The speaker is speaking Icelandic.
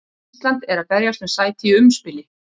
Ísland er að berjast um sæti í umspili.